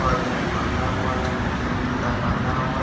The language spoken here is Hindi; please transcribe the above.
और जींस पहना हुआ है और निचे भी जूता पहना हुआ है।